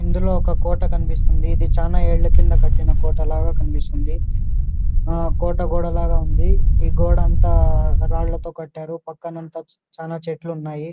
ఇందులో ఒక కోట కనిపిస్తుంది. ఇది చాల ఏళ్ల కింద కట్టిన కోట లాగా కనిపిస్తుందు. ఆ కోట గోడ లాగా ఉంది. ఈ గోడ అంతా రాళ్ల తో కట్టారు. పక్కన అంతా చాలా చెట్లు ఉన్నాయి.